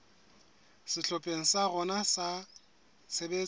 sehlopheng sa rona sa tshebetso